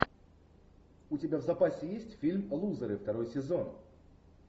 у тебя в запасе есть фильм лузеры второй сезон